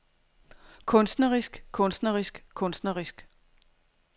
kunstnerisk kunstnerisk kunstnerisk